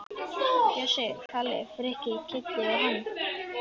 Bjössi, Kalli, Frikki, Kiddi og hann.